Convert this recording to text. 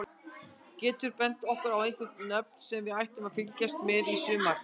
Geturðu bent okkur á einhver nöfn sem við ættum að fylgjast með í sumar?